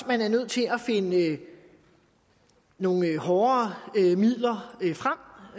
man er nødt til at finde nogle hårdere midler frem